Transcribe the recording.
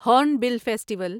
horn festival festival